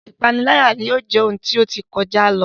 Ipanilaya yóò jẹ ohun ti o ti kọja lo